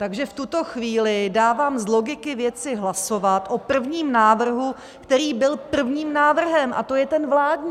Takže v tuto chvíli dávám z logiky věci hlasovat o prvním návrhu, který byl prvním návrhem, a to je ten vládní.